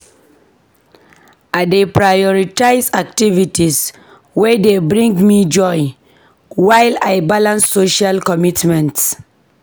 I dey prioritize activities wey dey bring me joy while I balance social commitments.